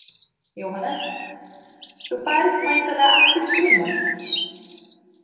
Jóhannes: Þú ferð væntanlega aftur í sumar?